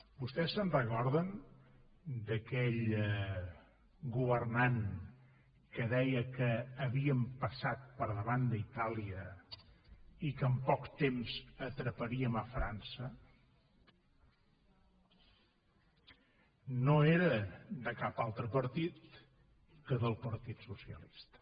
vostès se’n recorden d’aquell governant que deia que havíem passat per davant d’itàlia i que en poc temps atraparíem frança no era de cap altre partit que del partit socialista